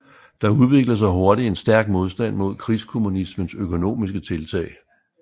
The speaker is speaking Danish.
Der udviklede sig hurtigt en stærk modstand mod krigskommunismens økonomiske tiltag